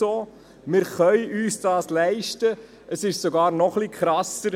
Wir können uns dies leisten, es ist sogar noch etwas krasser: